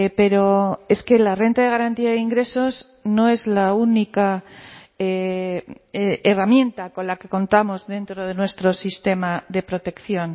pero es que la renta de garantía de ingresos no es la única herramienta con la que contamos dentro de nuestro sistema de protección